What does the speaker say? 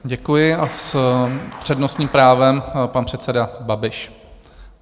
Děkuji a s přednostním právem pan předseda Babiš.